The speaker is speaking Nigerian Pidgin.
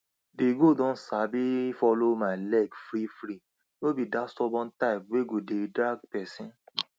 di goat don sabi follow my leg freefree no be dat stubborn type wey go dey drag person